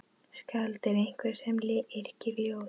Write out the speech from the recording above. Skáld er einhver sem yrkir ljóð.